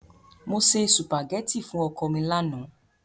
Mo se sùpàgẹ́tì fún ọkọ mi lánàá.